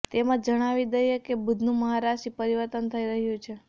તમને જણાવી દઈએ કે બુધનું મહારાશી પરિવર્તન થઇ રહ્યું છે